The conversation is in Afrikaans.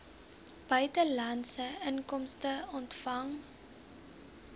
buitelandse inkomste ontvang